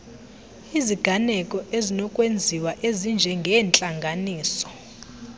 iziganeko ezinokwenziwa ezinjengeentlanganiso